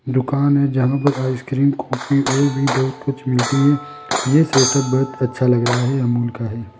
दुकान है जहां पर आइसक्रीम कॉफी और भी बहुत कुछ मिलती है यह सेटअप बहोत ही अच्छा लग रहा है अमूल का है।